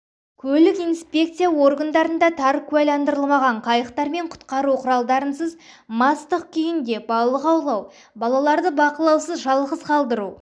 көлік инспекция органдарында тар куәландырылмаған қайықтармен құтқару құралдарынсыз мастық күйінде балық аулау балаларды бақылаусыз жалғыз қалтыру